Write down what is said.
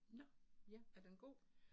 Nåh, er den god?